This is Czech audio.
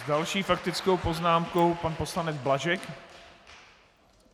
S další faktickou poznámkou pan poslanec Blažek.